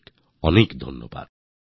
অনেক অনেক ধন্যবাদ